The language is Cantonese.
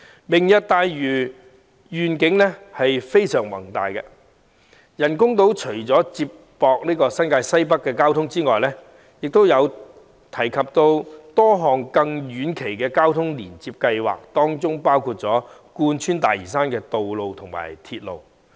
"明日大嶼"的願景非常宏大，除了接駁新界西北交通的人工島外，亦提出多項遠期交通連接計劃，當中包括貫穿大嶼山的道路和鐵路。